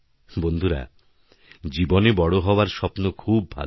বন্ধুরা জীবনে বড় হওয়ার স্বপ্ন খুব ভালো